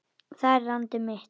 Það er landið mitt!